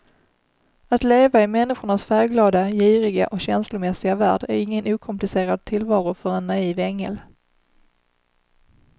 Att leva i människornas färgglada, giriga och känslomässiga värld är ingen okomplicerad tillvaro för en naiv ängel.